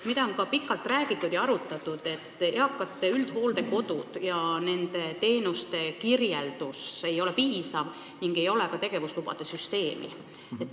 On pikalt räägitud ja arutatud, et eakate üldhooldekodude teenuste kirjeldus ei ole piisav ning ei ole ka tegevuslubade süsteemi.